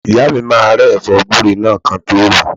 Ìyá mi máa rẹ́ ẹ̀fọ́ gúre náà kí wọ́n tọ́ ròó.